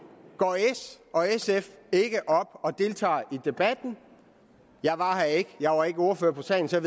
går s og sf ikke op og deltager i debatten jeg var her ikke jeg var ikke ordfører på sagen så